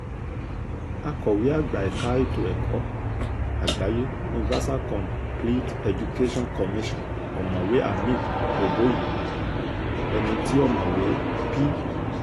akọ̀wé àgbà ẹ̀ka ètò ẹ̀kọ́ àgbáyé universalcomplete education commission ọ̀mọ̀wé hamid boboyi ẹni tí ọ̀mọ̀wé p